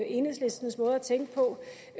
enhedslistens måde at til